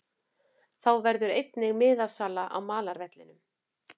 Þá verður einnig miðasala á malarvellinum.